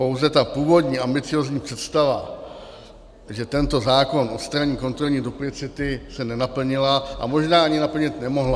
Pouze ta původní ambiciózní představa, že tento zákon odstraní kontrolní duplicity, se nenaplnila a možná ani naplnit nemohla.